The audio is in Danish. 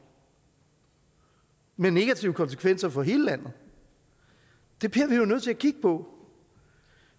med negative konsekvenser for hele landet det bliver vi jo nødt til at kigge på